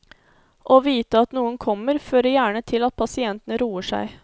Å vite at noen kommer, fører gjerne til at pasienten roer seg.